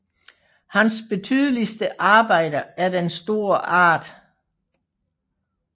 Hans betydeligste Arbejde er den store Art